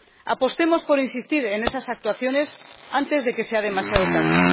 Apostemos por insistir en esas actuaciones antes de que sea demasiado tarde.